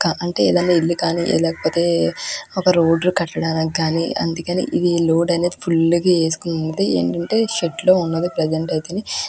ఇల్లు ఖాళీ లేకపోతే ఒక రోడ్డు కట్టడం కానీ అందుకే ఈ రోడ్ అనేది ఫుల్ ప్రజెంట్ అయితే --